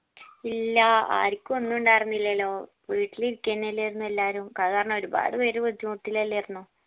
ഇല്ലാ ആരിക്കും ഒന്നും ഉണ്ടാർന്നില്ലെലോ വീട്ടില് ഇരിക്കെന്നല്ലേർന്നോ എല്ലാരും കാരണം ഒരുപാട് പേര് ബുദ്ധിമുട്ടിലെല്ലാർന്നോ